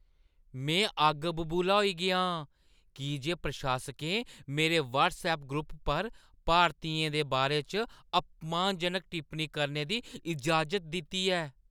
में अग्ग बबूला होई गेआ आं की जे प्रशासकें मेरे व्हट्सऐप ग्रुप पर भारतियें दे बारे च अपमानजनक टिप्पनी करने दी इजाज़त दित्ती ऐ।